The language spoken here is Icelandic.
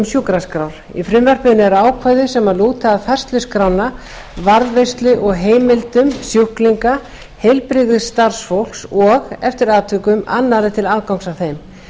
sjúkraskrár í frumvarpinu eru ákvæði sem lúta að færslu skránna varðveislu og heimildum sjúklinga heilbrigðisstarfsfólks og eftir atvikum annarra til aðgangs að þeim